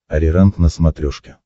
ариранг на смотрешке